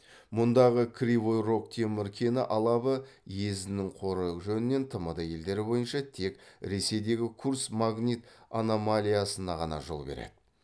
мұндағы кривой рог темір кені алабы езінің қоры жөнінен тмд елдері бойынша тек ресейдегі курск магнит аномалиясына ғана жол береді